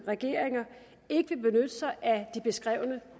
regeringer ikke vil benytte sig af de beskrevne